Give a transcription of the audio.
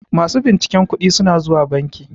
masu binciken kuɗi suna zuwa banki